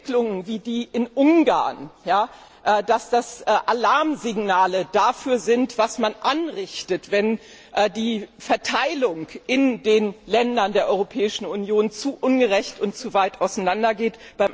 Entwicklungen wie in Ungarn Alarmsignale dafür sind, was man anrichtet, wenn die Verteilung in den Ländern der Europäischen Union zu ungerecht ist und zu weit auseinandergeht.